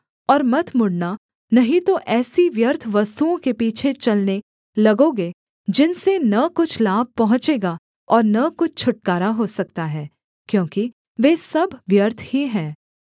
और मत मुड़ना नहीं तो ऐसी व्यर्थ वस्तुओं के पीछे चलने लगोगे जिनसे न कुछ लाभ पहुँचेगा और न कुछ छुटकारा हो सकता है क्योंकि वे सब व्यर्थ ही हैं